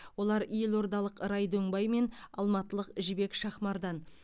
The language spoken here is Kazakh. олар елордалық рай дөңбай мен алматылық жібек шахмардан